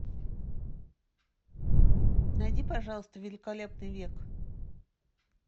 найди пожалуйста великолепный век